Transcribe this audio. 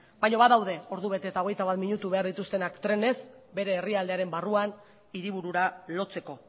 baino badaude ordu bete eta hogeita bat minutu behar dituztenak trenez bere herrialdearen barruan hiriburura lotzeko